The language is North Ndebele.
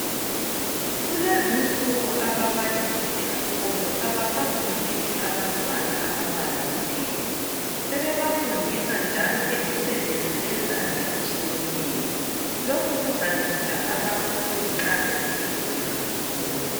Kulezi insuku ababalisi esikolo abasafundisi abantwana amabala kuphela, sebebafundisa njalo lemisebenzi yezandla etshiyeneyo. Lokhu kuzanceda abafundi nxa sebeqedile isikolo.